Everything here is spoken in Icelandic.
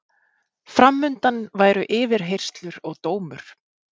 Fram undan væru yfirheyrslur og dómur.